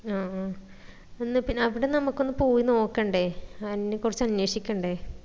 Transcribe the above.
ആ അഹ് എന്ന പിന്ന അവിടെ നമ്മക്ക് ഒന്ന് പോയി നോക്കണ്ടേ അയിനാ കുറിച്ച അന്വേഷിക്കണ്ടേ